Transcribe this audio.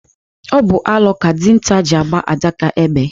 Ọ bụ alo ka dinta ji agba àdáká égbè.